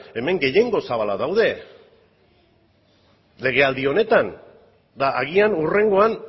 hemen gehiengo zabala daude legealdi honetan eta agian hurrengoan